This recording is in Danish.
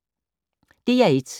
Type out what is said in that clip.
DR1